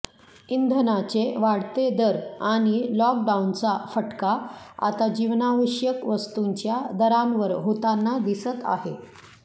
इंधनाचे वाढते दर आणि लॉकडाऊनचा फटका आता जीवनावश्यक वस्तूंच्या दरांवर होताना दिसत आहे